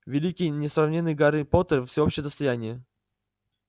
великий несравненный гарри поттер всеобщее достояние